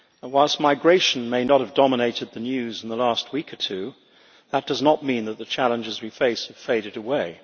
Whilst migration may not have dominated the news in the last week or two, that does not mean that the challenges we face have faded away.